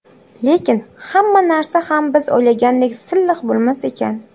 Lekin hamma narsa ham biz o‘ylagandek silliq bo‘lmas ekan.